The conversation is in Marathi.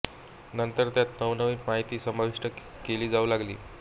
नंतर त्यात नवनवीन माहिती समाविष्ट केली जाऊ लागली